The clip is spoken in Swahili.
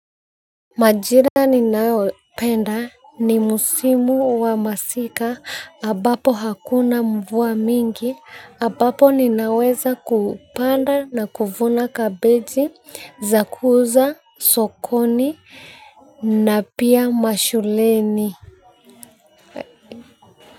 Majira ninaopenda ni musimu wa masika ambapo hakuna mvua mingi ambapo ninaweza kupanda na kuvuna kabeji za kuuza sokoni na pia mashuleni.